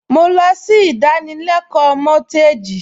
Mo lọ sí ìdánilẹ́kọ̀ọ́ mọ́gíìjì